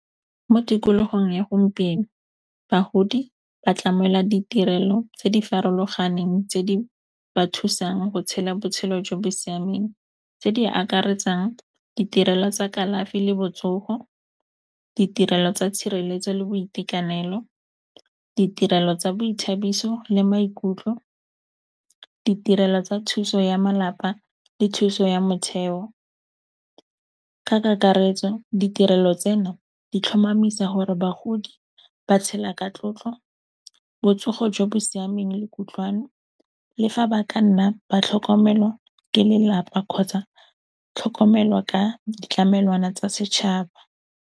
Mo tikolohong ya gompieno bahodi ba tlamela ditirelo tse di farologaneng tse di ba thusang go tshela botshelo jo bo siameng, tse di akaretsang ditirelo tsa kalafi le botsoho, ditirelo tsa tshireletso le boitekanelo, ditirelo tsa boithabiso le maikutlo, ditirelo tsa thuso ya malapa le thuso ya motheo, ka kakaretso ditirelo tseno di tlhomamisa hore bagodi ba tshela ka tlotlo, botsogo jo bo siameng le kutlwano le fa ba ka nna ba tlhokomelwa ke lelapa kgotsa tlhokomelo ka ditlamelwana tsa setšhaba.